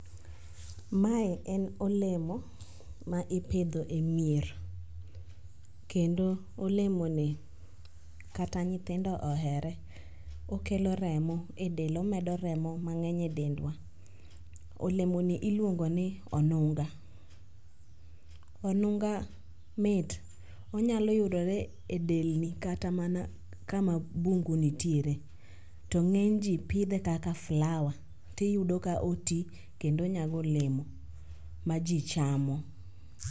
Mae en olemo ma ipidho e mier, kendo olemoni kata nyithindo ohere, okelo remo e del omedo remo mang'eny e dendwa. Olemoni iluongo ni onunga. Onunga mit, onyalo yudore e delni kata mana kama bungu nitiere to ng'enyji pidhe kaka flower tiyudo ka oti kendo onyago olemo ma ji chamo.